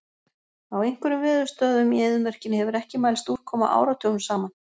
Á einhverjum veðurstöðvum í eyðimörkinni hefur ekki mælst úrkoma áratugum saman.